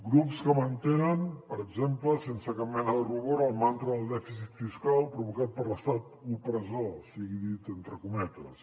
grups que mantenen per exemple sense cap mena de rubor el mantra del dèficit fiscal provocat per l’estat opressor sigui dit entre cometes